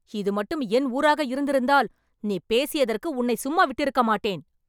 இது மட்டும் என் ஊராக இருந்திருந்தால், நீ பேசியதற்கு உன்னை சும்மாவிட்டிருக்க மாட்டேன்